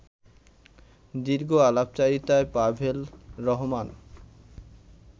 দীর্ঘ আলাপচারিতায় পাভেল রহমান